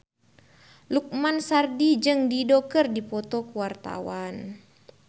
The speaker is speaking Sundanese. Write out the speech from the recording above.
Lukman Sardi jeung Dido keur dipoto ku wartawan